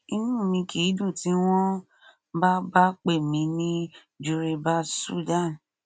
inú mi kìí dùn tí wọn bá bá pè mí ní juribas sudan